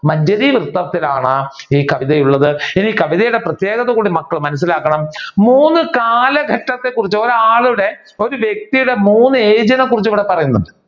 മഞ്ചരി വൃത്തത്തിലാണ് ഈ കവിതയുള്ളത് ഈ കവിതയുടെ പ്രത്യേകതകൾ കൂടി മക്കൾ മനസിലാക്കണം മൂന്ന് കാലഘട്ടത്തെ കുറിച് ഒരാളുടെ ഒരു വ്യക്തിയുടെ മൂന്ന് age നെ കുറിച് ഇവിടെ പറയുന്നു.